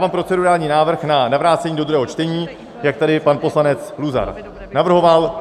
Dávám procedurální návrh na vrácení do druhého čtení, jak tady pan poslanec Luzar navrhoval.